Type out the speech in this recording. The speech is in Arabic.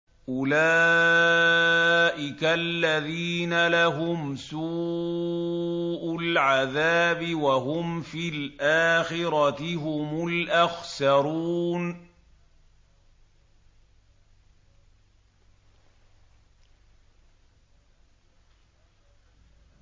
أُولَٰئِكَ الَّذِينَ لَهُمْ سُوءُ الْعَذَابِ وَهُمْ فِي الْآخِرَةِ هُمُ الْأَخْسَرُونَ